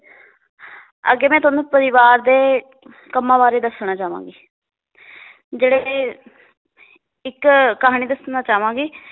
ਅੱਗੇ ਮੈ ਤੁਹਾਨੂੰ ਪਰਿਵਾਰ ਦੇ ਕੰਮਾਂ ਬਾਰੇ ਦੱਸਣਾ ਚਾਵਾਂਗੀ ਜਿਹੜੇ ਇਹ ਇੱਕ ਕਹਾਣੀ ਦੱਸਣਾ ਚਾਵਾਂਗੀ